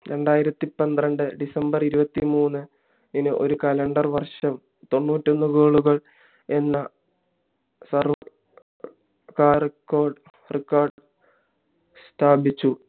രണ്ടായിരത്തി പന്ത്രണ്ട് december ഇരുവത്തിമൂന്നിന് ഒരു calender ഒരു വർഷം തൊണ്ണൂറ്റി ഒന്ന് goal എന്ന സർ കാല record സ്ഥാപിച്ചു